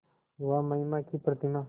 वह महिमा की प्रतिमा